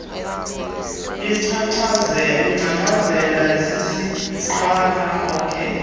lingcangcazela sisingqala ak